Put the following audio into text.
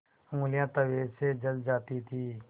ऊँगलियाँ तवे से जल जाती थीं